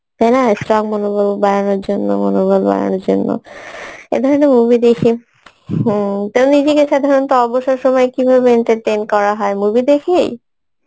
তাইনা strong মনোবল বাড়ানোর জন্য মনোবল বাড়ানোর জন্য এই ধরনের movie দেখি হম তুমি সাধারণত অবসর সময় কিভাবে entertain করা হয়, movie দেখে?